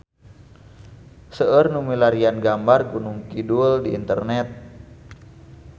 Seueur nu milarian gambar Gunung Kidul di internet